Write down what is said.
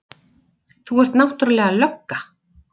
Þú ert náttúrlega lögga.